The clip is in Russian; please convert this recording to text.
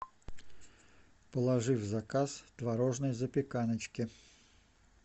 положи в заказ творожной запеканочки